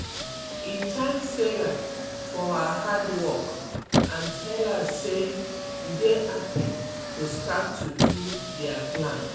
he thank sarah for her hard work and tell her say e dey happy to start to do their plan.